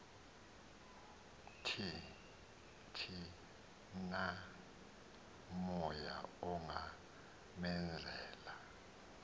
thi namoya ungamenzela